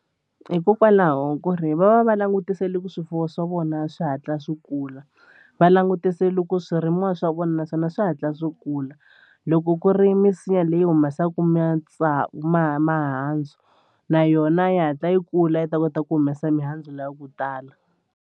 Hikokwalaho ku ri va va va langutisele ku swifuwo swa vona swi hatla swi kula va langutise loko swirimiwa swa vona naswona swi hatla swi kula loko ku ri misinya leyi humesaka ma mahandzu na yona yi hatla yi kula yi ta kota ku humesa mihandzu liya ya ku tala.